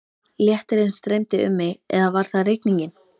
Léttirinn streymdi um mig eða var það rigningin?